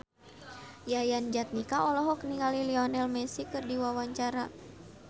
Yayan Jatnika olohok ningali Lionel Messi keur diwawancara